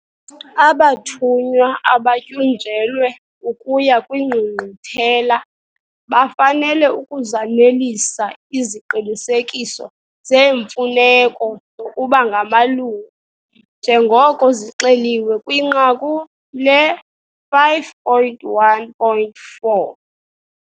Abathunywa abatyunjelwe ukuya kwiNgqungquthela bafanele ukuzanelisa iziqinisekiso zeemfuneko zokuba ngamalungu njengoko zixeliwe kwinqaku le-5.1.4'.